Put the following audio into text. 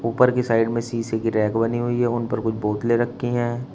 उपर की साइड में शीशे की रैक बनी हुई है उन पर कुछ बोतले रखी हैं।